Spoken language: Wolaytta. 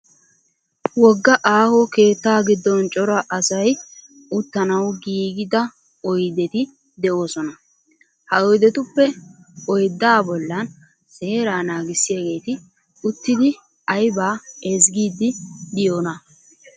Wogga aaho keettaa giddooni cora asay uttanaw giigida oyideti de'oosona. Ha oyidetuppe oyiddaa bollan seeraa naagissiyaageeti uttidi ayibaa ezgiiddi de'iyona